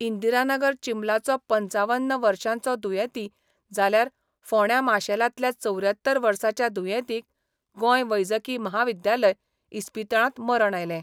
इंदिरानगर चिंबलचो पंचावन्न वर्षांचो दुयेंती जाल्यार फोण्या माशेलातल्या चौऱ्यात्तर वर्साच्या दुयेंतीक गोंय वैजकी म्हाविद्यालय इस्पितळात मरण आयले.